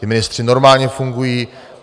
Ti ministři normálně fungují.